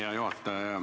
Hea juhataja!